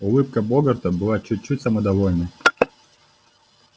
улыбка богарта была чуть-чуть самодовольной